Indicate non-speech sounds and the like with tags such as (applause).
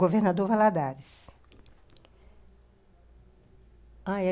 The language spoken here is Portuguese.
Governador Valadares (unintelligible)